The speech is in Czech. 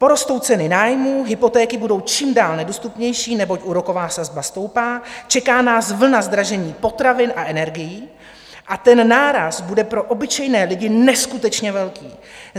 Porostou ceny nájmů, hypotéky budou čím dál nedostupnější, neboť úroková sazba stoupá, čeká nás vlna zdražení potravin a energií a ten náraz bude pro obyčejné lidi neskutečně velký.